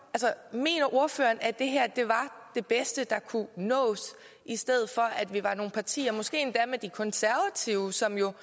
mener ordføreren at det her var det bedste der kunne nås i stedet for vi var nogle partier måske endda med de konservative som jo